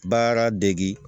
Baara degi